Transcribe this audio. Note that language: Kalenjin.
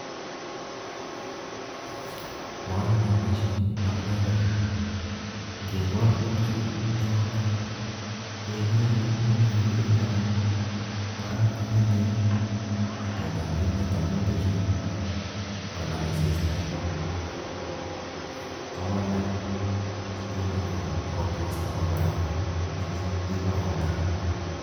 Mochome boishonii, amune konii ingekol tuguuchu en beek orit kongeme beek anan kora kongeme itondab emet amun beechu ingolaal asistaa kowalak itondnywan ak kotokosta koba barak ,nekoi koibu robta